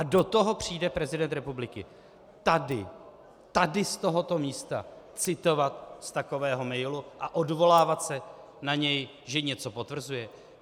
A do toho přijde prezident republiky, tady, tady z tohoto místa citovat z takového mailu a odvolávat se na něj, že něco potvrzuje?